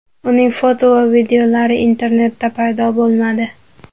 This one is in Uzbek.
Uning foto va videolari internetda paydo bo‘lmadi.